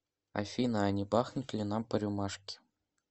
афина а не бахнуть ли нам по рюмашке